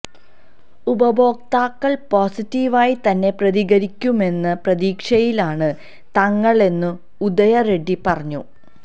ഉപഭോക്താക്കൾ പോസിറ്റീവായി തന്നെ പ്രതികരിക്കുമെന്ന പ്രതീക്ഷയിലാണ് തങ്ങളെന്നും ഉദയ റെഡ്ഡി പറഞ്ഞു